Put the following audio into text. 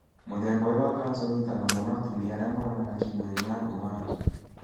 mũthemba ũyũ wa kansa ũnyitaga mũno atumia arĩa monanaga kĩmwĩrĩ na andũ angĩ.